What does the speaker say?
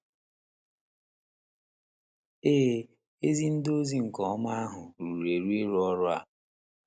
Ee, ezi ezi ndị ozi nke ozi ọma ahụ ruru eru ịrụ ọrụ a.